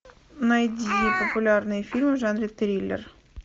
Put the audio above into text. найди популярные фильмы в жанре триллер